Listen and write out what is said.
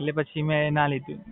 એટલે પછી મે commerce લઈ લીધું.